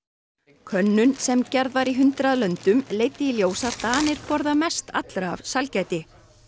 könnun sem gerð var í hundrað löndum leiddi í ljós að Danir borða mest allra af sælgæti